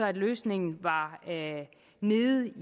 at løsningen var nede